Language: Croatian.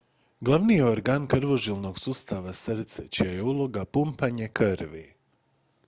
glavni je organ krvožilnog sustava srce čija je uloga pumpanje krvi